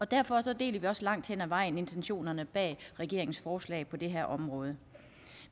derfor deler vi også langt hen ad vejen intentionerne bag regeringens forslag på det her område